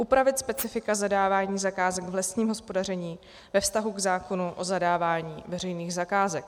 Upravit specifika zadávání zakázek v lesním hospodaření ve vztahu k zákonu o zadávání veřejných zakázek.